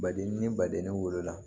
Baden ni baden ne wolola